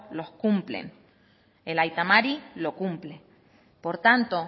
los cumplen el aita mari lo cumple por tanto